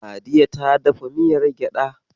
Sadiya ta dafa miyar gyaɗa.